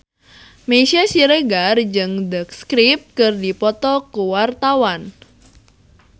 Meisya Siregar jeung The Script keur dipoto ku wartawan